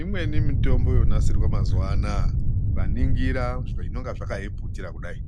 Imweni mitombo yonasirwa mazuwaanaya ukaningira zvinenge zvakaiputira kudai